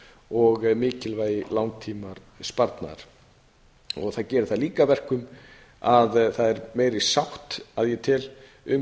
og mikilvægi langtímasparnaðar það gerir það líka að verkum að það er meiri sátt að ég tel um